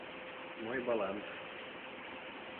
мой баланс